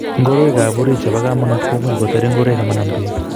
Ngoroik ab orit chebo komanut komuch koter ingoroik ama nam bek